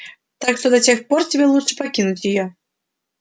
так что до тех пор тебе лучше покинуть её